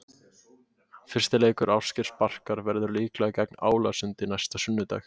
Fyrsti leikur Ásgeirs Barkar verður líklega gegn Álasundi næsta sunnudag.